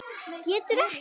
Getur ekkert.